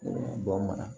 Bɔn bana